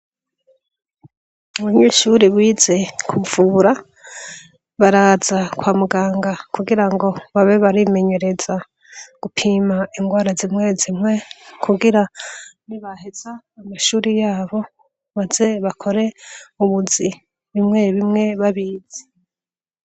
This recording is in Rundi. Ubunyishuri wize kupfura baraza kwa muganga kugira ngo babe barimenyereza gupima ingwara zimwe zimpwe kugira ni baheza amashuri yabo baze bakore ubuzi bimwe bimwe babize.